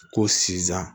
Ko sizan